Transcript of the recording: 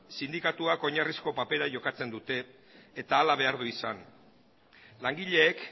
sindikatuak oinarrizko papera jokatzen dute eta hala behar du izan langileek